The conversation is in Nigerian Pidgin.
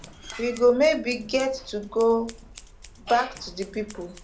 we go maybe get to go back to di people